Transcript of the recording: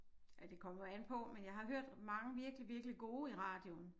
Ja det kommer jo an på men jeg har hørt mange virkelig virkelig gode i radioen